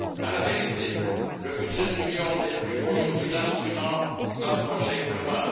En vérité, le budget de l'Union n'est plus aujourd'hui l'instrument d'un projet commun.